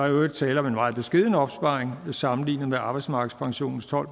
i øvrigt tale om en meget beskeden opsparing sammenlignet med arbejdsmarkedspensionens tolv